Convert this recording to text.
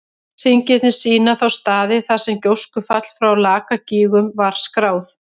Hringirnir sýna þá staði þar sem gjóskufall frá Lakagígum var skráð.